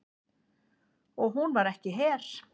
Og hún var ekki her.